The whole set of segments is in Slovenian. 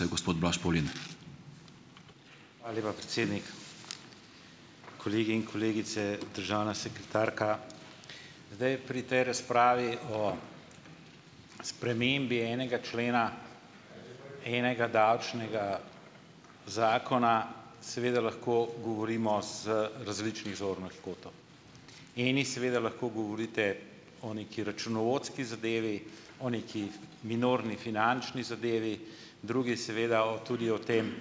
ala lepa, predsednik, kolegi in kolegice, državna sekretarka. Zdaj, pri tej razpravi o spremembi enega člena enega davčnega zakona seveda lahko govorimo z različnih zornih kotov, eni seveda lahko govorite o neki računovodski zadevi, o neki minorni finančni zadevi, drugi seveda o tudi o tem,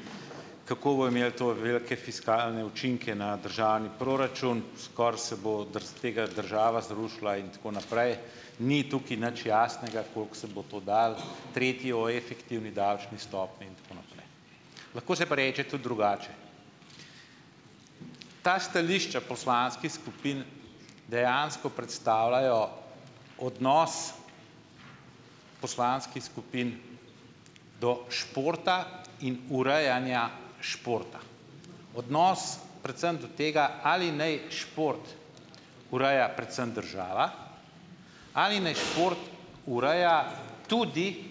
kako bojo imeli to velike fiskalne učinke na državni proračun, skoraj se bo tega država zrušila in tako naprej, ni tukaj nič jasnega, koliko se bo to dalo, tretji o efektivni davčni stopnji in tako naprej, lahko se pa reče tudi drugače. Ta stališča poslanskih skupin dejansko predstavljajo odnos poslanskih skupin do športa in urejanja športa, odnos predvsem do tega, ali naj šport ureja predvsem država, ali naj šport ureja tudi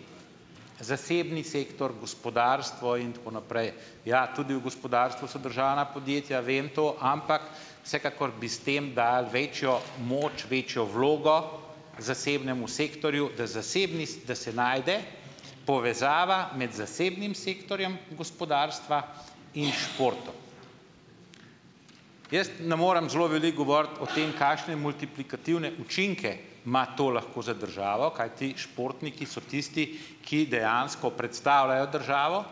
zasebni sektor, gospodarstvo in tako naprej, ja, tudi v gospodarstvu so državna podjetja, vem to, ampak vsekakor bi s tem dali večjo moč, večjo vlogo zasebnemu sektorju, da zasebni, da se najde povezava med zasebnim sektorjem gospodarstva in športom. Jaz ne morem zelo veliko govoriti o tem, kakšne multiplikativne učinke ima to lahko za državo, kajti športniki so tisti, ki dejansko predstavljajo državo,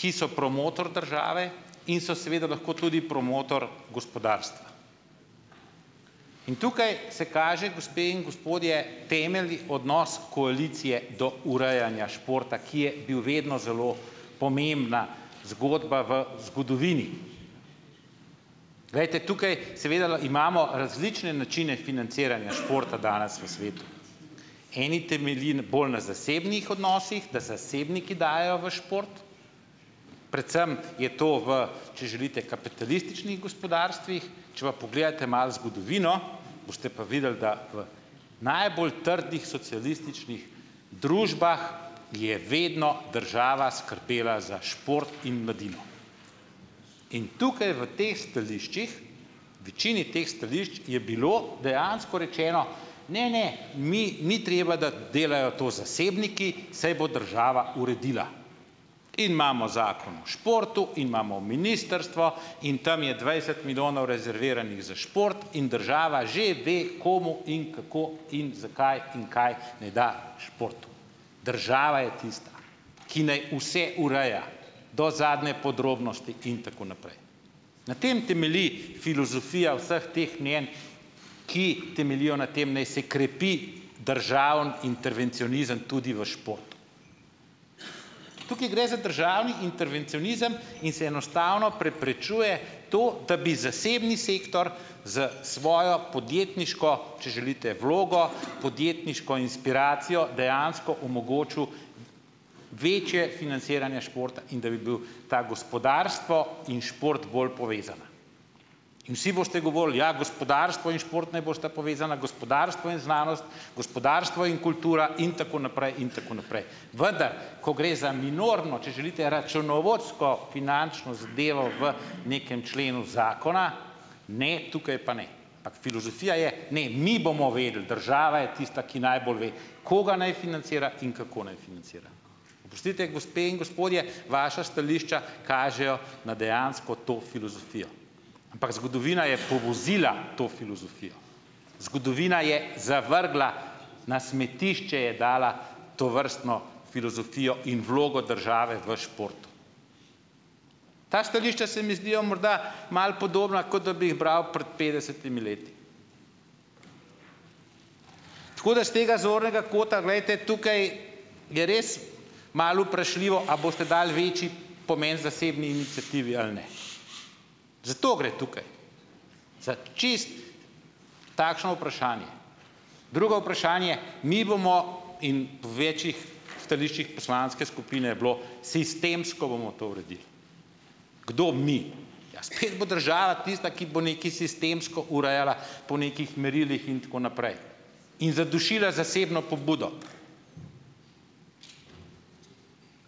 ki so promotor države in so seveda lahko tudi promotor gospodarstva, in tukaj se kaže, gospe in gospodje, temeljni odnos koalicije do urejanja športa, ki je bil vedno zelo pomembna zgodba v zgodovini, glejte, tukaj seveda imamo različne načine financiranja športa danes v svetu, eni temelji bolj na zasebnih odnosih, da zasebniki dajejo v šport, predvsem je to v, če želite, kapitalističnih gospodarstvih, če pa pogledate malo zgodovino, boste pa videli, da v najbolj trdih socialističnih družbah je vedno država skrbela za šport in mladino, in tukaj v tej stališčih, večini teh stališč je bilo dejansko rečeno: "Ne, ne, mi ni treba, da delajo to zasebniki, saj bo država uredila, in imamo zakon o športu in imamo ministrstvo in tam je dvajset milijonov rezerviranih za šport in država že ve, komu in kako in zakaj in kaj ne da športu." Država je tista, ki naj vse ureja do zadnje podrobnosti in tako naprej, na tem temelji filozofija vseh teh mnenj, ki temeljijo na tem, naj se krepi državni intervencionizem tudi v športu, tukaj gre za državni intervencionizem in se enostavno preprečuje to, da bi zasebni sektor s svojo podjetniško, če želite, vlogo podjetniško inspiracijo dejansko omogočil večje financiranje športa in da bi bil ta gospodarstvo in šport bolj povezana, in vsi boste govorili: "Ja, gospodarstvo in šport naj bosta povezana, gospodarstvo in znanost, gospodarstvo in kultura in tako naprej in tako naprej." vendar ko gre za minorno, če želite, računovodsko finančno zadevo v nekem členu zakona, ne, tukaj pa ne, ampak filozofija je, ne, mi bomo vedeli, država je tista, ki najbolj ve, koga ni financira in kako naj financira, oprostite, gospe in gospodje, vaša stališča kažejo na dejansko to filozofijo, ampak zgodovina je povozila to filozofijo, zgodovina je zavrgla, na smetišče je dala tovrstno filozofijo in vlogo države v športu, ta stališča se mi zdijo morda malo podobna, kot da bi jih bral pred petdesetimi leti, tako da s tega zornega kota, glejte, tukaj je res malo vprašljivo, ali boste dali večji pomen zasebni iniciativi ali ne, za to gre tukaj, za čisto takšno vprašanje, drugo vprašanje, mi bomo in v več stališčih poslanske skupine je bilo, sistemsko bomo to uredili. Kdo mi? Ja, spet bo država tista, ki bo nekaj sistemsko urejala po nekih merilih in tako naprej in zadušila zasebno pobudo,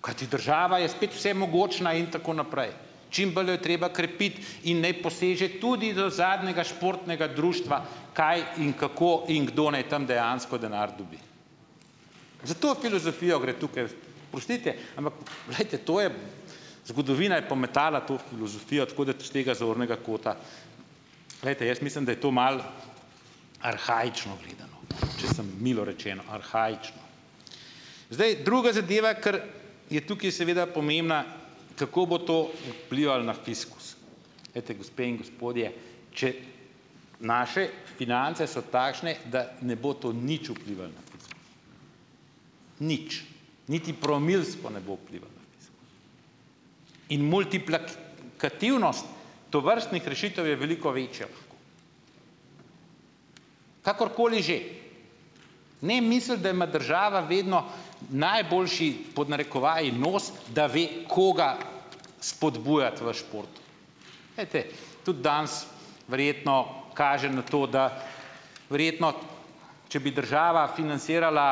kajti država je spet vsemogočna in tako naprej, čim bolj jo treba krepiti in naj poseže tudi do zadnjega športnega društva, kaj in kako in kdo ne tam dejansko denar dobi, za to filozofijo gre tukaj, oprostite, ampak glejte, to je zgodovina je pometala to filozofijo, tako da s tega zornega kota, glejte, jaz mislim, da je to malo arhaično gledano, če sem milo rečeno arhaično, zdaj, druga zadeva, kar je tukaj seveda pomembna, kako bo to vplivalo na fiskus, ejte, gospe in gospodje, če naše finance so takšne, da ne bo to nič vplivalo na fiskus, nič, niti promilsko ne bo vplivalo na fiskus. In kativnost tovrstnih rešitev je veliko večjih, kakorkoli že, ne misliti, da ima država vedno najboljši pod narekovajih nos, da ve, koga spodbujati v športu, ejte, tudi danes verjetno kaže na to, da verjetno če bi država financirala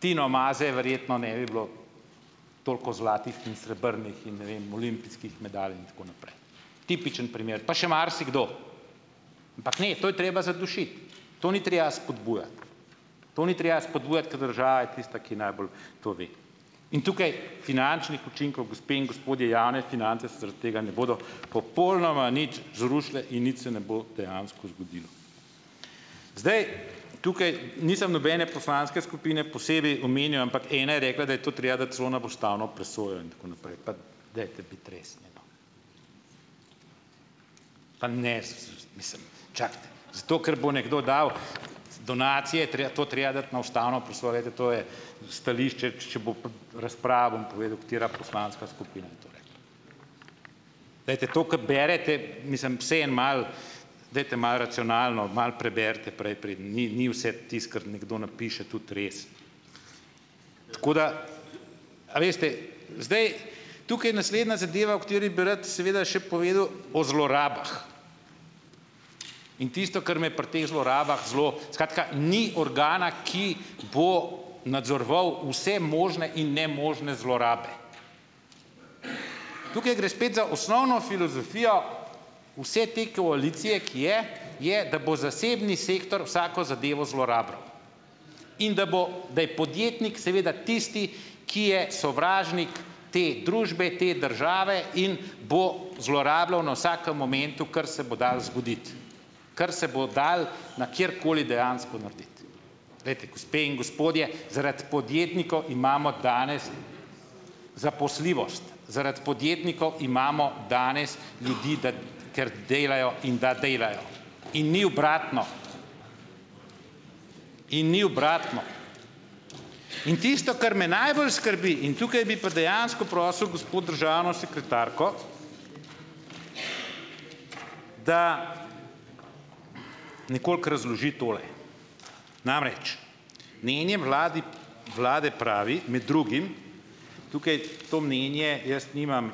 Tino Maze, verjetno ne bi bilo toliko zlatih in srebrnih in ne vem olimpijskih medalj in tako naprej, tipičen primer pa še marsikdo, ampak, ne, to je treba zadušiti, to ni treba spodbujati, to ni treba spodbujati, ker država je tista, ki najbolj to ve, in tukaj finančnih učinkov, gospe in gospodje, javne finance se zaradi tega ne bodo popolnoma nič zrušile in nič se ne bo dejansko zgodilo, zdaj, tukaj nisem nobene poslanske skupine posebej omenjal, ampak ena je rekla, da je to treba dati celo na ustavno presojo in tako naprej, pa dajte biti resni no pa ne mislim, čakajte, zate, ker bo nekdo dal donacije, to treba dati na ustavno presojo, glejte, to je stališče, če bo razprava, bom povedal, katera poslanska skupina je to rekla, glejte, to, ke berete, mislim, vsaj en malo, dajte malo racionalna, malo preberite, preden ni ni vse tisto, kar nekdo napiše, tudi res, tako da, a veste, zdaj, tukaj naslednja zadeva, o kateri bi rad seveda še povedal, o zlorabah, in tisto, kar me pri teh zlorabah zelo, skratka ni organa, ki bo nadzoroval vse možne in nemožne zlorabe, tukaj gre spet za osnovno filozofijo vse te koalicije, ki je je, da bo zasebni sektor vsako zadevo zlorabljal in da bo, da je podjetnik seveda tisti, ki je sovražnik te družbe te države in bo zlorabljal na vsakem momentu, kar se bo dalo zgoditi, kar se bo dalo na kjerkoli dejansko narediti, glejte, gospe in gospodje, zaradi podjetnikov imamo danes zaposljivost, zaradi podjetnikov imamo danes ljudi, da ker delajo in da delajo, in ni obratno, in ni obratno, in tisto, kar me najbolj skrbi, in tukaj bi pa dejansko prosil gospo državno sekretarko, da nekoliko razloži tole, namreč mnenje vladi vlade pravi med drugim, tukaj to mnenje jaz nimam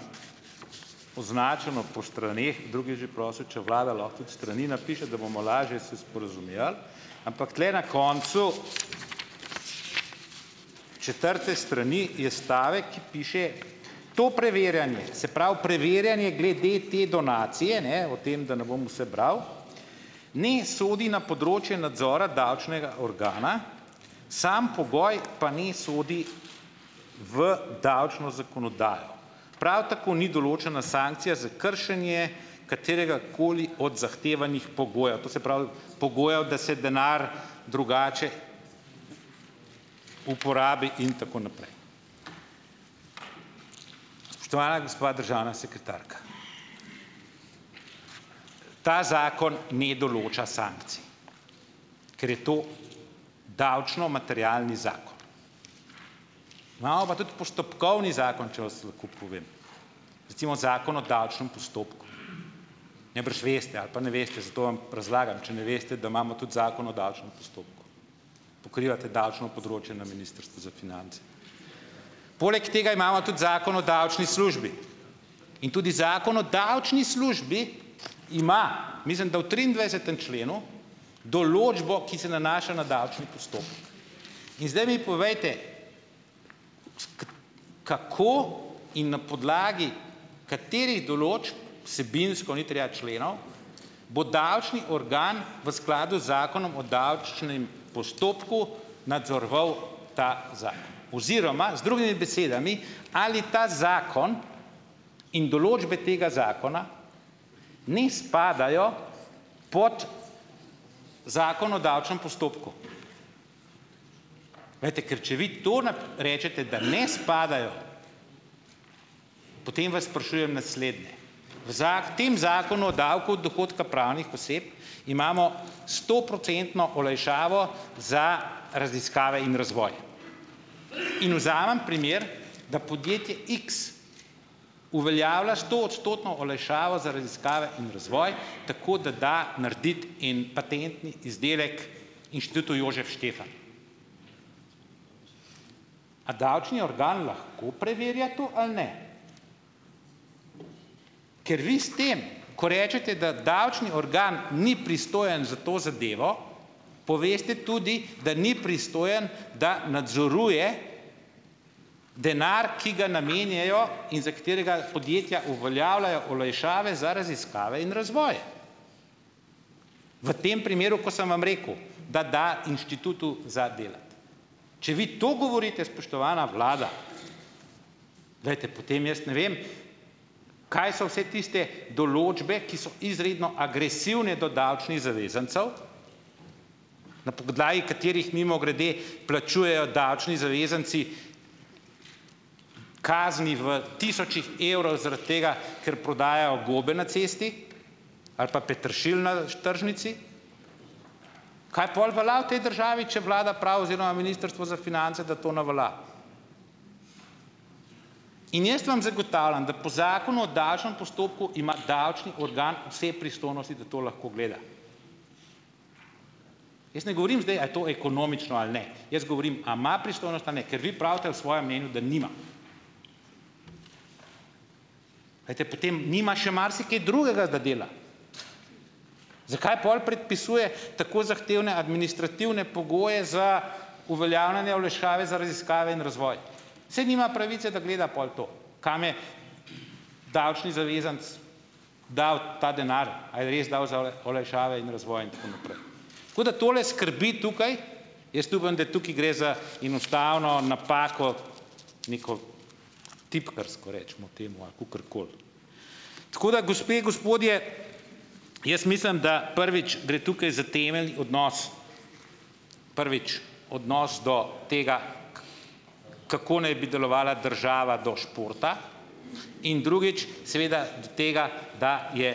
označeno po straneh, drugi je že prosil, če vlada lahko tudi strani napiše, da bomo lažje se sporazumevali, ampak tule na koncu četrte strani je stavek, piše, to preverjanje, se pravi preverjanje glede te donacije, ne, o tem, da ne bom vse bral, ne sodi na področje nadzora davčnega organa, sam pogoj pa ne sodi v davčno zakonodajo, prav tako ni določena sankcija za kršenje kateregakoli od zahtevanih pogojev, to se pravi pogojev, da se denar drugače uporabi in tako naprej, spoštovana gospa državna sekretarka, ta zakon ne določa sankcij, ker je to davčno materialni zakon, imamo pa tudi postopkovni zakon, če vas lahko povem, recimo zakon o davčnem postopku, najbrž veste ali pa ne veste, zato vam razlagam, če ne veste, da imamo tudi zakon o davčnem postopku, pokrivate davčno področje na ministrstvu za finance, poleg tega imamo tudi zakon o davčni službi in tudi zakon o davčni službi, ima, mislim da v triindvajsetem členu, določbo, ki se nanaša na davčni postopek, in zdaj mi povejte, kako in na podlagi katerih določb vsebinsko, ni treba členov, bo davčni organ v skladu z zakonom o davčnem postopku nadzoroval ta zakon, oziroma z drugimi besedami, ali ta zakon in določbe tega zakona ne spadajo pod zakon o davčnem postopku, glejte, ker če vi to rečete, da ne spadajo potem vas sprašujem naslednje. V v tem zakonu o davku dohodka pravnih oseb imamo stoprocentno olajšavo za raziskave in razvoj in vzamem primer, da podjetje x uveljavlja stoodstotno olajšavo za raziskave in razvoj tako, da da narediti en patentni izdelek inštitutu Jožef Stefan. A davčni organ lahko preverja to ali ne? Ker vi s tem, ko rečete, da davčni organ ni pristojen za to zadevo, poveste tudi, da ni pristojen, da nadzoruje denar, ki ga namenjajo in za katerega podjetja uveljavljajo olajšave za raziskave in razvoj, v tem primeru, ko sem vam rekel, da da inštitutu za delati, če vi to govorite, spoštovana vlada, glejte, potem jaz ne vem, kaj so vse tiste določbe, ki so izredno agresivne do davčnih zavezancev, na podlagi katerih mimogrede plačujejo davčni zavezanci kazni v tisočih evrov zaradi tega, ker prodajajo gobe na cesti ali pa peteršilj na tržnici, kaj pol velja v tej državi, če vlada pravi oziroma ministrstvo za finance, da to ne velja, in jaz vam zagotavljam, da po zakonu o davčnem postopku ima davčni organ vse pristojnosti, da to lahko gleda, jaz ne govorim zdaj, ali je to ekonomično ali ne, jaz govorim, a ima pristojnost ali ne, ker vi pravite v svojem mnenju, da nima, glejte, potem nima še marsikaj drugega, da dela, zakaj pol predpisuje tako zahtevne administrativne pogoje za uveljavljanje olajšave za raziskave in razvoj, saj nima pravice, da gleda pol to, kam je, davčni zavezanec dal ta denar, a je res dal za olajšave in razvoj in tako naprej, tako da tole skrbi tukaj, jaz upam, da tukaj gre za enostavno napako neko tipkarsko recimo temu ali kakorkoli, tako da, gospe, gospodje, jaz mislim, da prvič gre tukaj za temeljni odnos, prvič, odnos do tega, kako naj bi delovala država do športa in, drugič, seveda do tega, da je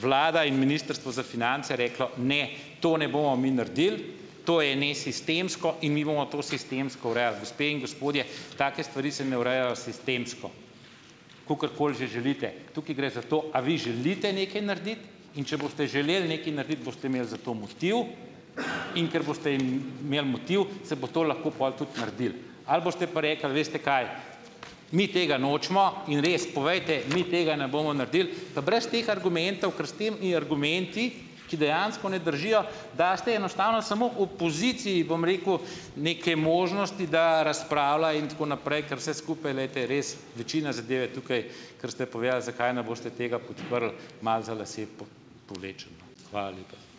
vlada in ministrstvo za finance reklo: "Ne, to ne bomo mi naredili, to je nesistemsko in mi bomo to sistemsko urejali." Gospe in gospodje, take stvari se ne urejajo sistemsko, kakorkoli že želite, tukaj gre za to, ali vi želite nekaj narediti, in če boste želeli nekaj narediti, boste imeli za to motiv, in ker boste imeli motiv, se bo to pol lahko tudi naredilo ali boste pa rekli: "Veste kaj, mi tega nočemo." In res, povejte mi: "Tega ne bomo naredili," pa brez teh argumentov, ker s temi argumenti, ki dejansko ne držijo, daste enostavno samo opoziciji, bom rekel, nekaj možnosti, da razpravlja in tako naprej, ker vse skupaj, glejte, res večina zadev je tukaj, ker ste povedali, zakaj ne boste tega podprli, malo za lase povlečeno. Hvala lepa.